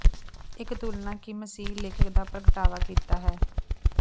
ਇੱਕ ਤੁਲਨਾ ਕਿ ਮਸੀਹੀ ਲੇਖਕ ਦਾ ਪ੍ਰਗਟਾਵਾ ਕੀਤਾ ਹੈ